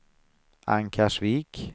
Ankarsvik